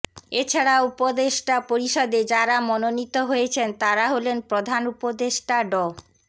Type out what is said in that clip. এ ছাড়া উপদেষ্টা পরিষদে যাঁরা মনোনীত হয়েছেন তাঁরা হলেন প্রধান উপদেষ্টা ড